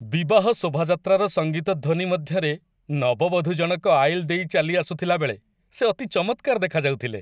ବିବାହ ଶୋଭାଯାତ୍ରାର ସଙ୍ଗୀତ ଧ୍ୱନି ମଧ୍ୟରେ ନବବଧୂ ଜଣକ ଆଇଲ୍ ଦେଇ ଚାଲି ଆସୁଥିଲାବେଳେ ସେ ଅତି ଚମତ୍କାର ଦେଖାଯାଉଥିଲେ।